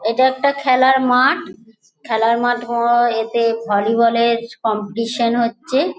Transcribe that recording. এইটা একটা খেলার মাঠ। খেলার মাঠ হওয়ায় এতে ভলিবল -এর কম্পিটিশন হচ্ছে।